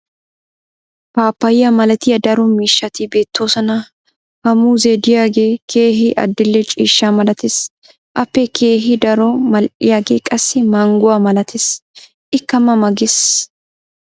paappayiya malattiya daro miishshati beetoosona. ha muuzzee diyagee keehi adil'e ciishsha malatees. appe keehi daro mal'iyaagee qassi mangguwa malatees. ikka mama ges.